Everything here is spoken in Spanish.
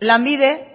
lanbide